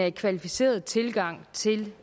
en kvalificeret tilgang til